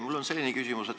Mul on selline küsimus.